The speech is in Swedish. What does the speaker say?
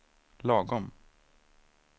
lagom